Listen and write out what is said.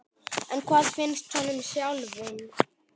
En hvað finnst honum sjálfum?